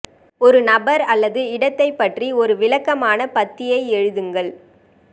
ஒரு நபர் அல்லது இடத்தைப் பற்றி ஒரு விளக்கமான பத்தியை எழுதுங்கள்